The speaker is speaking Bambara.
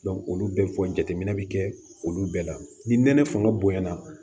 olu bɛɛ fɔ jateminɛ bi kɛ olu bɛɛ la ni nɛnɛ fanga bonyana